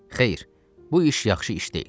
Xeyr, bu iş yaxşı iş deyil.